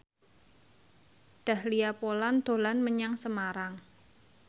Dahlia Poland dolan menyang Semarang